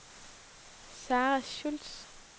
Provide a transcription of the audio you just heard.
Sarah Schultz